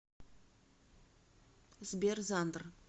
сбер зандр